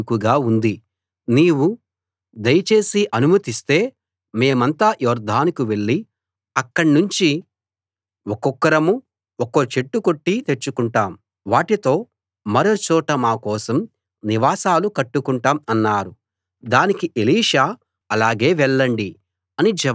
నీవు దయ చేసి అనుమతిస్తే మేమంతా యొర్దానుకు వెళ్ళి అక్కడ్నించి ఒక్కొక్కరం ఒక్కో చెట్టు కొట్టి తెచ్చుకుంటాం వాటితో మరో చోట మా కోసం నివాసాలు కట్టుకుంటాం అన్నారు దానికి ఎలీషా అలాగే వెళ్ళండి అని జవాబిచ్చాడు